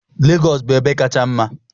Lagos bụ ebe kacha mma.